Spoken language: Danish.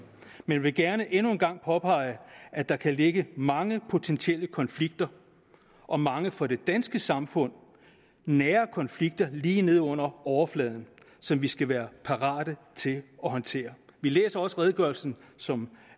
men vi vil gerne endnu en gang påpege at der kan ligge mange potentielle konflikter og mange for det danske samfund nære konflikter lige neden under overfladen som vi skal være parate til at håndtere vi læser også redegørelsen sådan